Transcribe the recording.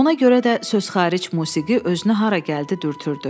Ona görə də söz xaric musiqi özünü hara gəldi dürtürdü.